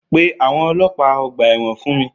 Pè àwọn ọlọ́pàá ọgbà ẹ̀wọ̀n fun mi